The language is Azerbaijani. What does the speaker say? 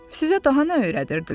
Sizə daha nə öyrədirdilər?